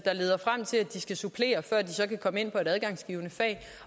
leder frem til at de skal supplere før de så kan komme ind